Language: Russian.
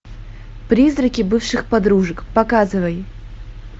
призраки бывших подружек показывай